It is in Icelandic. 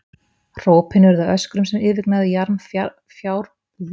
Hrópin urðu að öskrum sem yfirgnæfðu jarm fjárbreiðunnar, hvað þá flúðirnar í ánni.